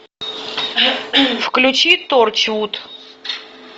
включи торчвуд